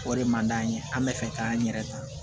O de man d'an ye an bɛ fɛ k'an yɛrɛ ta